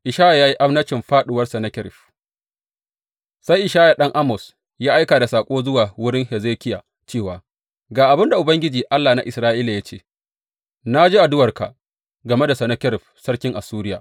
Ishaya ya yi annabcin fāɗuwar Sennakerib Sai Ishaya ɗan Amoz ya aika da saƙo zuwa wurin Hezekiya cewa, Ga abin da Ubangiji, Allah na Isra’ila ya ce, na ji addu’arka game da Sennakerib sarkin Assuriya.